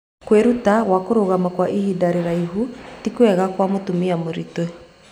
kwĩruta gwa kũrũgama kwa ihinda rĩraihu ti kwega kwa mũtumia mũritũ